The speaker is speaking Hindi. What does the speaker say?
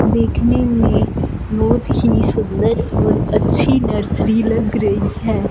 देखने में बहुत ही सुंदर और अच्छी नर्सरी लग रही है।